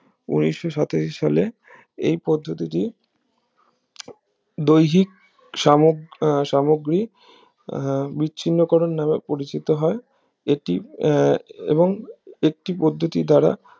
উনিশশো সালে এই পদ্ধতিটি দৈহিক সাম~সামগ্রী আহ বিচ্ছিন্ন করুন নাম পরিচিত হয় এটি এ এবং একটি পদ্ধতি দ্বারা